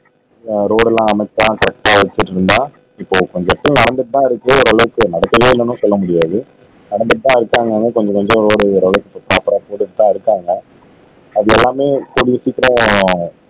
ஆஹ் road எல்லாம் அழகா செட்டா வச்சிருந்தா இப்போ கொஞ்சத்துக்கு நடந்துட்டுதான் இருக்கு ஓரளவுக்கு நடக்கல்லன்னும் சொல்ல முடியாது நடந்துட்டுதான் இருக்கு ஆனாலும்ப கொஞ்சம் கொஞ்சம் வேலைகள் ஓரளவுக்கு பிராப்பரா செய்துட்டுதான் இருக்காங்க அது எல்லாமே கூடிய சீக்கிரம்